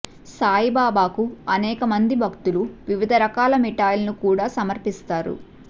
సాయిబాబాకు అనేక మంది భక్తులు వివిధ రకాల మిఠాయిలను కూడా సమర్పిస్తారు